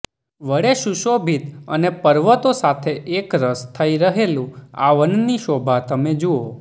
વડે સુશોભિત અને પર્વતો સાથે એકરસ થઇ રહેલું આ વનની શોભા તમે જુઓ